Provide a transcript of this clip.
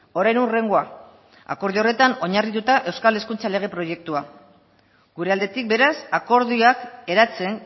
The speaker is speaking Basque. orain hurrengoa akordio horretan oinarrituta euskal hezkuntza lege proiektua gure aldetik beraz akordioak eratzen